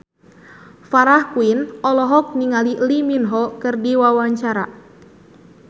Farah Quinn olohok ningali Lee Min Ho keur diwawancara